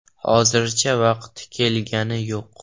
Hozircha vaqti kelgani yo‘q.